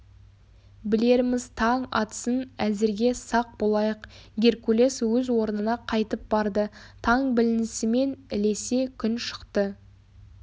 білерміз таң атсын әзірге сақ болайық геркулес өз орнына қайтып барды таң білінісімен ілесе күн шықты